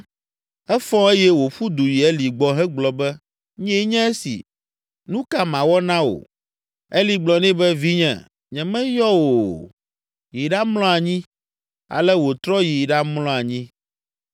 Efɔ eye wòƒu du yi Eli gbɔ hegblɔ be, “Nyee nye esi, nu ka mawɔ na wò?” Eli gblɔ nɛ be, “Vinye, nyemeyɔ wò o, yi ɖamlɔ anyi.” Ale wòtrɔ yi ɖamlɔ anyi.